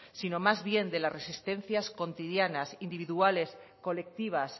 sino más bien de las resistencias cotidianas individuales colectivas